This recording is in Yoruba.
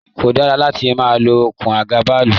Ko dara láti ma lo okùn àga bàálù!